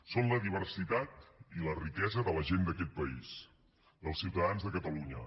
són la diversitat i la riquesa de la gent d’aquest país dels ciutadans de catalunya